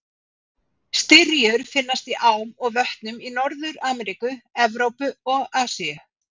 Styrjur finnast í ám og vötnum í Norður-Ameríku, Evrópu og Asíu.